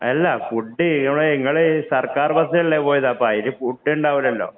Food അല്ല നിങ്ങള് സര്‍ക്കാര്‍ ബസ്സിലല്ലേ പോയത്. അപ്പൊ അതില് ഫുഡ് ഉണ്ടാവുലല്ലോ